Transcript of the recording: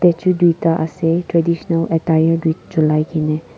statue tuita ase traditional attire julai kena.